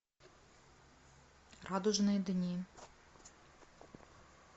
радужные дни